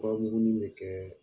Fura muguni bɛ kɛ